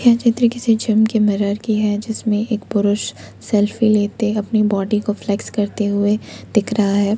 यह चित्र किसी जम के मिरर की है जिसमें एक पुरुष सेल्फी लेते अपने बॉडी को फ्लेक्स करते हुए दिख रहा है।